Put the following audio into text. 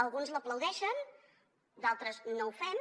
alguns l’aplaudeixen d’altres no ho fem